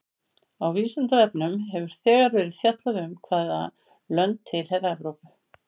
Á Vísindavefnum hefur þegar verið fjallað um hvaða lönd tilheyra Evrópu.